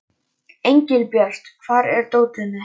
Engilbjört, hvar er dótið mitt?